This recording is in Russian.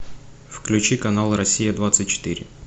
включи канал россия двадцать четыре